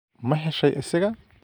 Ma heshay isaga?